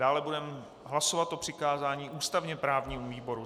Dále budeme hlasovat o přikázání ústavně právnímu výboru.